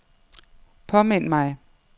påmind mig